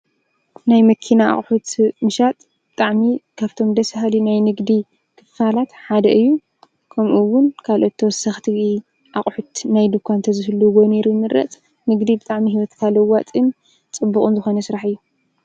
ናይ መኪና ኣቕሑት ምሻጥ ብጥዕሚ ካብቶም ደስሃሊ ናይ ንግዲ ኽፋላት ሓደ እዩ ከምኡውን ካልኦቶ ሰኽቲ ኣቝሑት ናይ ድኳ እንተ ዘፍሉ ወነይሩ ምድረጽ ንግዲ ብጣዕሚ ሕይወት ካልዋጥን ጽቡቕን ዝኾነ ሥራሕ እዩ።